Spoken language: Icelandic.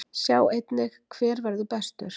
Sjá einnig: Hver verður bestur?